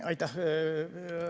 Aitäh!